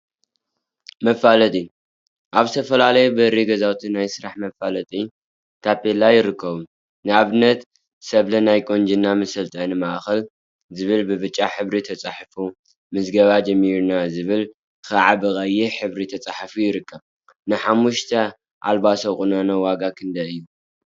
መፋለጢ አብ ዝተፈላለዩ በሪ ገዛውቲ ናይ ስራሕ መፋለጢ ታፔላ ይርከብ፡፡ ንአብነት ሰብለ ናይ ቁንጅና መሰልጠኒ ማእከል ዝብል ብብጫ ሕብሪ ተፃሒፉ፤ ምዝገባ ጀምረናል ዝብል ከዓ ብቀይሕ ሕብሪ ተፃሒፉ ይርከብ፡፡ ንሓሙሽተ አልባሶ ቁኖ ዋጋ ክንደይ እዩ?